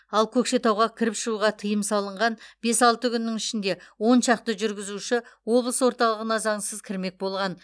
ал көкшетауға кіріп шығуға тыйым салынған бес алты күннің ішінде он шақты жүргізуші облыс орталығына заңсыз кірмек болған